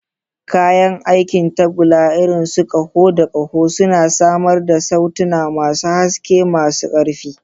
Kayan aikin tagulla, irin su ƙaho da ƙaho, suna samar da sautuna masu haske, masu ƙarfi.